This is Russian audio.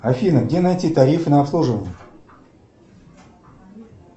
афина где найти тарифы на обслуживание